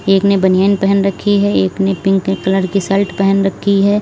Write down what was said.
एक ने बनियान पहन रखी है एक ने पिंक कलर की शर्ट पहन रखी है।